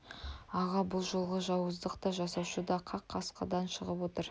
аға бұл жолғы жауыздық та жасаушы да қақ қасыңыздан шығып отыр